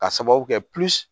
Ka sababu kɛ